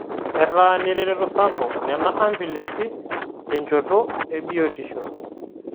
Etaa neretoto sapuk nena ambulensi tenchoto e biotishl